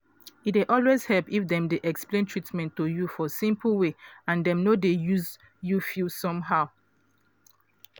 e dey always help if dem dey explain treatment to you for simple way and dem no dey make you feel somehow.